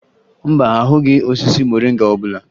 Mba, ahụghị osisi moringa ọbụla